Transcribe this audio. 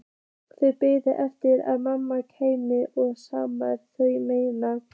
Þau biðu eftir að mamma kæmi og skammaði þau meira.